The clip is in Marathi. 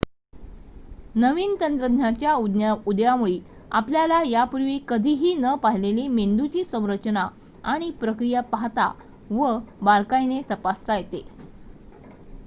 नवीन तंत्रज्ञानाच्या उदयामुळी आपल्याला यापूर्वी कधीही न पाहिलेली मेंदूची संरचना आणि प्रक्रिया पाहता व बारकाईने तपासता येते